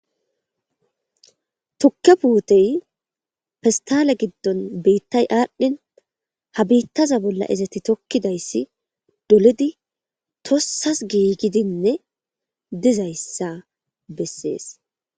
Tukke puutey fistale giddon biittay aadhdhin ha biittaza bolla izeti tokkidayssi dolidi tossas giigidinne dizayssa bessees.